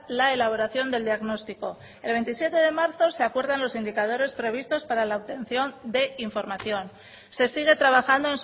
la elaboración del diagnóstico el veintisiete de marzo se acuerda los indicadores previstos para la obtención de información se sigue trabajando